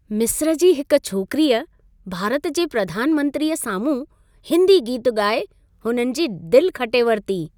मिस्र जी हिक छोकिरीअ भारत जे प्रधान मंत्रीअ साम्हूं हिंदी गीतु ॻाए, हुननि जी दिलि खटे वरिती।